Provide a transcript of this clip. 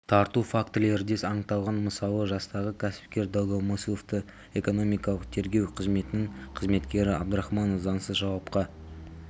тарту фактілері де анықталған мысалы жастағы кәсіпкер долгомысловты экономикалық тергеу қызметінің қызметкері абдрахманов заңсыз жауапқа